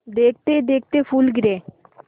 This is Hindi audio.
देखते देखते फूल गिरे